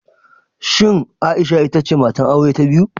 Shin Aisha ita ce matar aure ta biyu?